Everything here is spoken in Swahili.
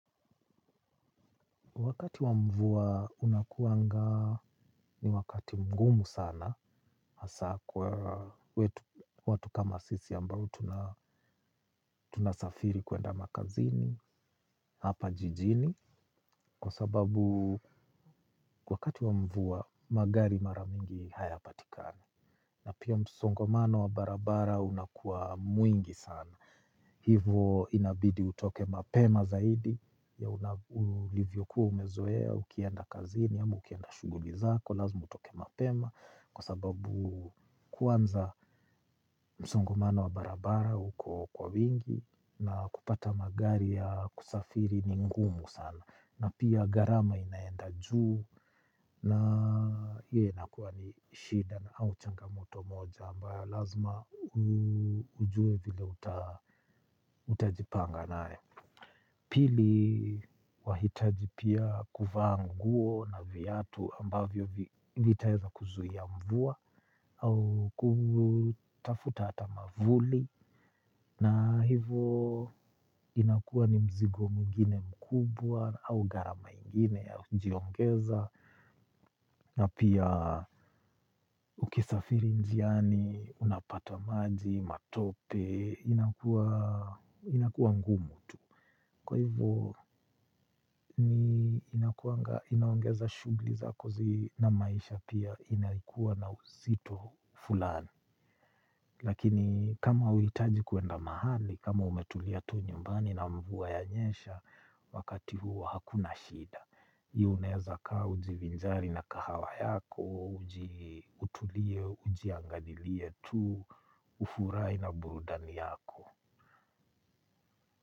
Wakati wa mvua unakuanga ni wakati mgumu sana hasa kwa watu kama sisi ambao tunasafiri kuenda makazini, hapa jijini. Kwa sababu wakati wa mvua magari mara mingi hayapatikani. Na pia msongomano wa barabara unakuwa mwingi sana. Hivo inabidi utoke mapema zaidi ya ulivyokuwa umezoea, ukienda kazini, ama ukienda shughuli zako, lazima utoke mapema kwa sababu kwanza msongomano wa barabara uko kwa wingi na kupata magari ya kusafiri ni ngumu sana. Na pia gharama inaenda juu na hiyo inakuwa ni shida au changamoto moja ambayo lazima ujue vile utajipanga nayo. Pili wahitaji pia kuvaa nguo na viatu ambavyo vitaeza kuzuia mvua au kutafuta hata mwavuli na hivo inakuwa ni mzigo mwingine mkubwa au gharama yengine ya kujiongeza na pia ukisafiri njiani unapata maji matope inakuwa ngumu tu. Kwa hivyo inaongeza shughuli za kazi na maisha pia inayokuwa na uzito fulani. Lakini kama huhitaji kwenda mahali, kama umetulia tu nyumbani na mvua yanyesha wakati huu hakuna shida unaeza kaa ujivinzari na kahawa yako, utulie, ujiangalilie tu, ufurahi na burudani yako.